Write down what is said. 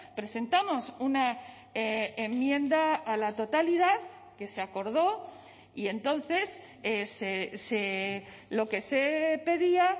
presentamos una enmienda a la totalidad que se acordó y entonces lo que se pedía